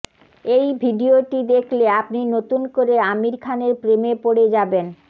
এই ভিডিওটি দেখলে আপনি নতুন করে আমির খানের প্রেমে পড়ে যাবেন